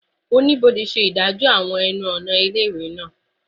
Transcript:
Onibode ṣe idaniloju aabo awọn ẹnu-ọna ile-iwe naa